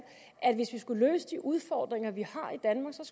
at hvis vi skulle løse de udfordringer vi